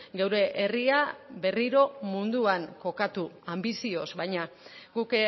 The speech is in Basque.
geure herria berriro munduan kokatu anbizioz baina guk